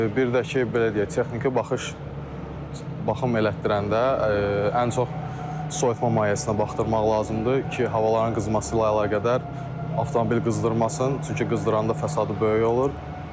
Bir də ki, belə deyək, texniki baxış baxım elətdirəndə ən çox soyutma mayesinə baxdırmaq lazımdır ki, havaların qızması ilə əlaqədar avtomobil qızdırmasın, çünki qızdıranda fəsadı böyük olur.